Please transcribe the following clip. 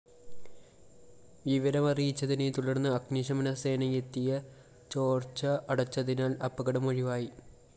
വിവരമറിയച്ചതിനെതുടര്‍ന്ന് അഗ്നിശമനസേനയെത്തിയ ചോര്‍ച്ച അടച്ചതിനാല്‍ അപകടം ഒഴിവായി